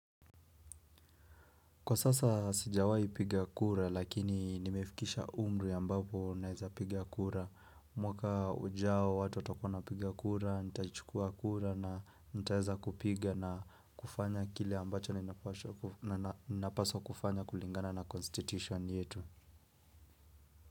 Kwa sasa sijawahi piga kura lakini nimefikisha umri ambapo naeza piga kura. Mwaka ujao watu watakuwa wanapiga kura, nitaichukua kura na nitaeza kupiga na kufanya kile ambacho ninapaswa kufanya kulingana na constitution yetu.